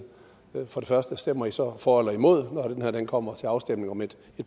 for det første stemmer i så for eller imod når det kommer til afstemning om et